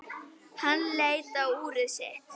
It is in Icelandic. Hann leit á úrið sitt.